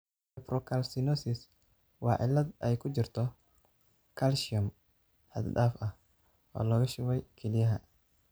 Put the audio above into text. Nephrocalcinosis waa cillad ay ku jirto kalsiyum xad dhaaf ah oo lagu shubay kelyaha.